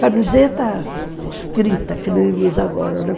Camiseta escrita, que não usa agora, né?